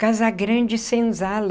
Casa Grande e Senzala.